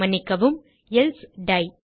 மன்னிக்கவும் எல்சே டை